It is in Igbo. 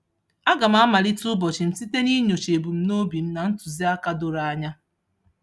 Aga m amalite ụbọchị m site ninyocha ebumnobi m na ntụziaka doro anya.